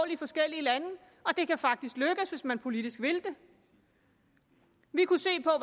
i forskellige lande og det kan faktisk lykkes hvis man politisk vil det vi kunne se på